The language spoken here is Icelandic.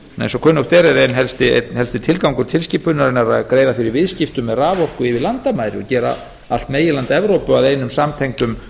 eins og kunnugt er er einn helsti tilgangur tilskipunarinnar að greiða fyrir viðskipti með raforku yfir landamæri gera allt meginland evrópu að einum samtengdum